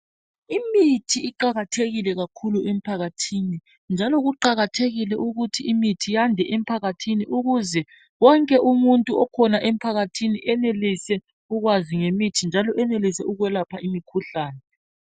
Imithi iqakathekile kakhulu emphakathini, njalo kuqakathekile ukuthi imithi iyande emphakathini ukuze wonke umuntu okhona emphakathini enelise ukwazi ngemithi njalo enelise ukwelapha imikhuhlane.